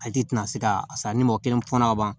A tigi tɛna se ka a sa ni mɔgɔ kelen fɔla ka ban